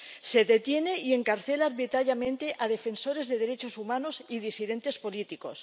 Se detiene y encarcela arbitrariamente a defensores de derechos humanos y disidentes políticos.